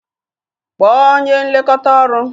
Kpọọ onye nlekọta ọrụ!